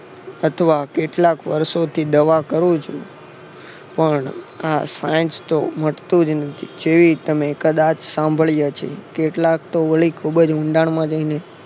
અથવા કેટલાક વર્ષોથી દવા કરું છું પણ આ સ્નૈઝતો મટતું જ નથી જેવી તમે કદાચ સાંભળ્યા છે. કેટલાક તો વળી કેટલા ઊંડાણ માં જઈને